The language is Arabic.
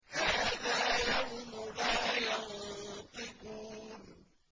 هَٰذَا يَوْمُ لَا يَنطِقُونَ